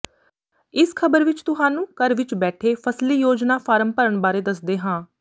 ਇਸ ਖ਼ਬਰ ਵਿੱਚ ਤੁਹਾਨੂੰ ਘਰ ਵਿੱਚ ਬੈਠੇ ਫ਼ਸਲੀ ਯੋਜਨਾ ਫਾਰਮ ਭਰਨ ਬਾਰੇ ਦੱਸਦੇ ਹਾਂ